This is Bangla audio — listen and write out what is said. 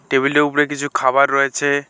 টেবিলটির উপরে কিছু খাবার রয়েছে।